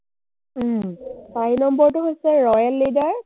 চাৰি নম্বৰটো হৈছে royal leader,